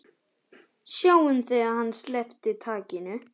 Sáum þegar hann sleppti takinu.